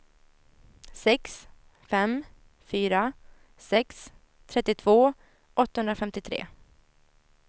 sex fem fyra sex trettiotvå åttahundrafemtiotre